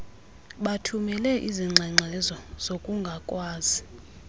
bathumele izingxengxezo zokungakwazi